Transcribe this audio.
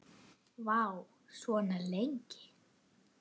Vá, svona lengi?